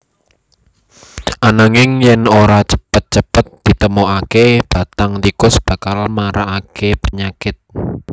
Ananging yèn ora cepet cepet ditemokaké bathang tikus bakal maragaké penyakit